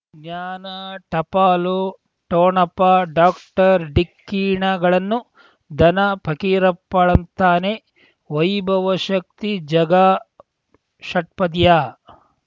ಜ್ಞಾನ ಟಪಾಲು ಠೋಣಪ ಡಾಕ್ಟರ್ ಢಿಕ್ಕಿ ಣಗಳನು ಧನ ಫಕೀರಪ್ಪ ಳಂತಾನೆ ವೈಭವ್ ಶಕ್ತಿ ಝಗಾ ಷಟ್ಪದಿಯ